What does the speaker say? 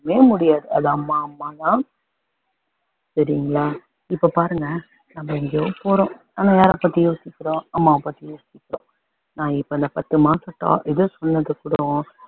முடியாது அது அம்மா அம்மா தான் சரிங்களா இப்போ பாருங்க நம்ம எங்கயோ போறோம் ஆனால் யாரை பத்தி யோசிக்கிறோம் அம்மாவ பத்தி யோசிக்கிறோம் நான் இப்போ இந்த பத்து மாச இத சொன்னது கூட